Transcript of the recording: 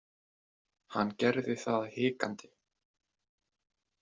Hann gerði það hikandi.